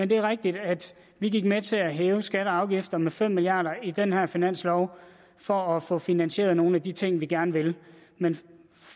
det var rigtigt at vi gik med til at hæve skatter og afgifter med fem milliard kroner i den her finanslov for at få finansieret nogle af de ting vi gerne vil men